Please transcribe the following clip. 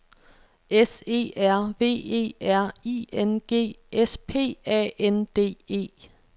S E R V E R I N G S P A N D E